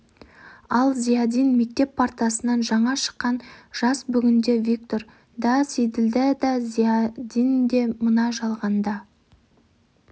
ал зиядин мектеп партасынан жаңа шыққан жас бүгінде виктор да сейділдә да зиядин де мына жалғанда